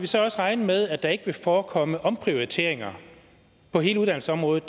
så også regne med at der ikke vil forekomme omprioriteringer på hele uddannelsesområdet